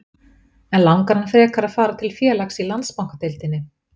En langar hann frekar að fara til félags í Landsbankadeildinni?